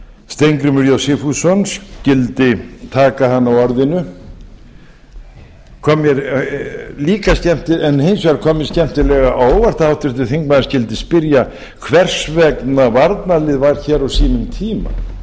steingrímur j sigfússon skyldi taka hana á orðinu hins vegar kom mér skemmtilega á óvart að háttvirtur þingmaður skyldi spyrja hvers vegna varnarlið var hér á sínum tíma